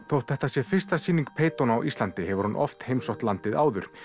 þótt þetta sé fyrsta sýning á Íslandi hefur hún oft heimsótt landið áður